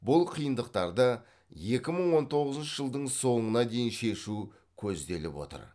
бұл қиындықтарды екі мың он тоғызыншы жылдың соңына дейін шешу көзделіп отыр